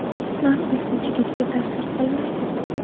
Nam esa chigitga ta’sir qilmaydi.